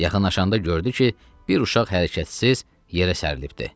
Yaxınlaşanda gördü ki, bir uşaq hərəkətsiz yerə sərilibdir.